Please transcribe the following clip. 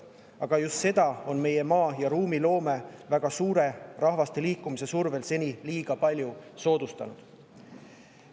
Aga just seda on meie maa‑ ja ruumiloome väga suure rahva liikumise survel seni liiga palju soodustanud.